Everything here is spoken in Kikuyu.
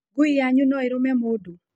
Ngui yanyu no ĩrũme mũndũ?